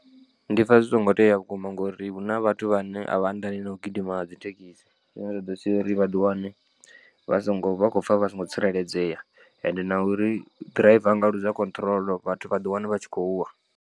Ndi pfha zwi songo tea vhukuma ngauri huna vhathu vhane a vha anḓani na u gidima nga dzithekisi zwine zwa ḓo sia uri vhaḓi wane vha songo vha khou pfha vha songo tsireledzea ende na uri ḓiraiva a nga ḽuza control vhathu vha ḓi wana vha tshi khou wa.